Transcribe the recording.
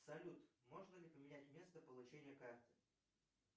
салют можно ли поменять место получения карты